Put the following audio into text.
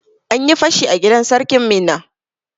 An yi fashi a gidan sarkin Minna.